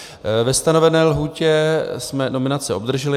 Ve stanovené lhůtě jsme nominace obdrželi.